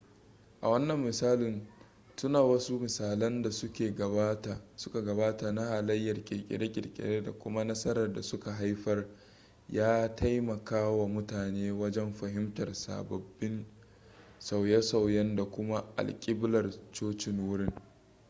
a wannan misalin tuna wasu misalan da suka gabata na halayyar kirkire-kirkire da kuma nasarar da suka haifar ya taimakawa mutane wajen fahimtar sabbin sauye-sauyen da kuma alkiblar cocin wurin